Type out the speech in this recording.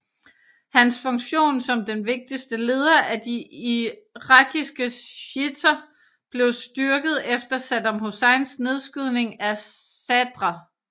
Hans funktion som den vigtigste leder af de irakiske shiitter blev styrket efter Saddam Husseins nedskydning af Sadr